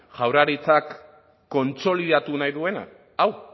jaurlaritzak kontsolidatu nahi duena hau